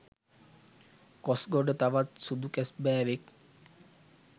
කොස්ගොඩ තවත් සුදු කැස්බෑවෙක්